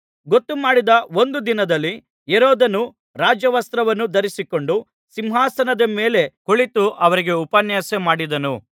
ಗೊತ್ತುಮಾಡಿದ ಒಂದು ದಿನದಲ್ಲಿ ಹೆರೋದನು ರಾಜವಸ್ತ್ರವನ್ನು ಧರಿಸಿಕೊಂಡು ಸಿಂಹಾಸನದ ಮೇಲೆ ಕುಳಿತು ಅವರಿಗೆ ಉಪನ್ಯಾಸ ಮಾಡಿದನು